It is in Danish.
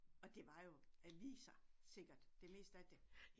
Og det var jo aviser sikkert det meste af det